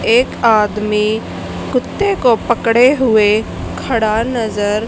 एक आदमी कुत्ते को पकड़े हुए खड़ा नजर--